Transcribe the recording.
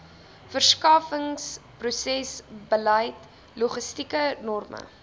verskaffingsprosesbeleid logistieke norme